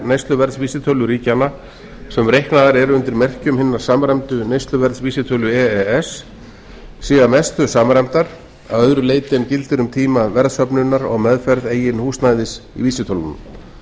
neysluverðsvísitölur ríkjanna sem reiknaðar eru undir merkjum hinna samræmdu neysluverðsvísitölu e e s sé að mestu samræmdar að öðru leyti en gildir um tíma verðsöfnunar og meðferð eigin húsnæðis vísitölunnar